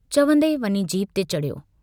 चवन्दे वञी जीप ते चढ़ियो।